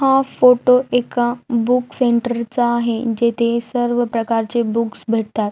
हा फोटो एका book centre च आहे जेथे सर्व प्रकारचे बुक्स भेटतात.